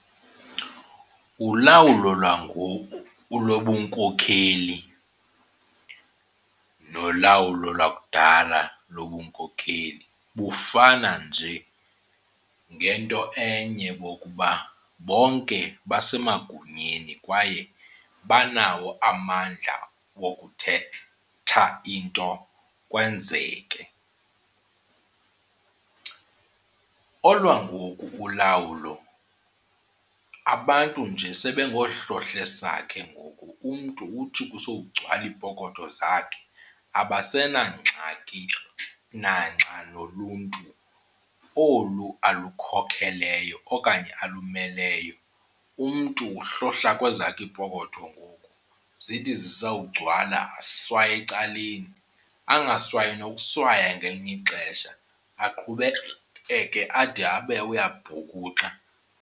Ulawulo lwangoku lobunkokheli nolawulo lwakudala lobunkokheli bufana nje ngento enye ngokuba bonke basemagunyeni kwaye banawo amandla okuthetha into kwenzeke. Olwangoku ulawulo abantu nje sebengoohlohlesakhe ngoku, umntu uthi kusokugcwala iipokoto zakhe abasenangxaki nanxa noluntu olu alukhokeleyo okanye alumeleyo. Umntu uhlohla kwezakhe iipokotho ngoku zithi zisawugcwala aswaye ecaleni. Angaswayi nokuswaya ngelinye ixesha aqhubekeke ade abe uyabhukuxa.